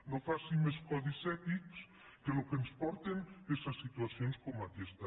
no faci més codis ètics que al que ens porten és a situacions com aquesta